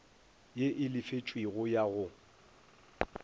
ye e lefetšwego ya go